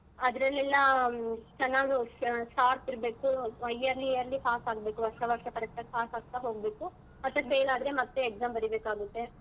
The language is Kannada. ಅದ್ರಲ್ಲೆಲ್ಲ ಚೆನ್ನಾಗಿ sha~ sharp ಇರ್ಬೇಕು yearly yearly pass ಆಗ್ಬೇಕು ವರ್ಷ ವರ್ಷ ಪರೀಕ್ಷೆಲ್ pass ಆಗ್ತಾ ಹೋಗ್ಬೇಕು ಮತ್ತೆ fail ಆದ್ರೆ ಮತ್ತೇ exam ಬರೀಬೇಕಾಗುತ್ತೆ.